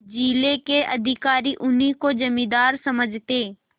जिले के अधिकारी उन्हीं को जमींदार समझते